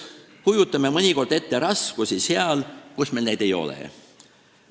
Me kujutame mõnikord raskusi ette seal, kus meil neid ei ole.